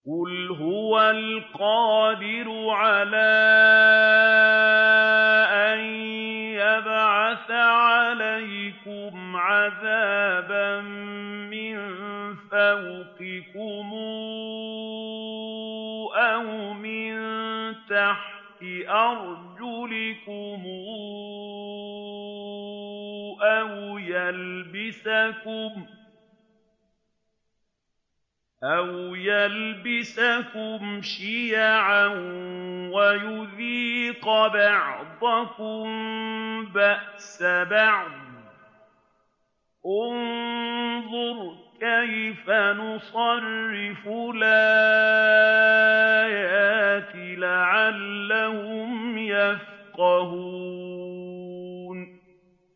قُلْ هُوَ الْقَادِرُ عَلَىٰ أَن يَبْعَثَ عَلَيْكُمْ عَذَابًا مِّن فَوْقِكُمْ أَوْ مِن تَحْتِ أَرْجُلِكُمْ أَوْ يَلْبِسَكُمْ شِيَعًا وَيُذِيقَ بَعْضَكُم بَأْسَ بَعْضٍ ۗ انظُرْ كَيْفَ نُصَرِّفُ الْآيَاتِ لَعَلَّهُمْ يَفْقَهُونَ